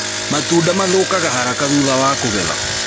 Matunda mathũkaga haraka thutha wa kũgetha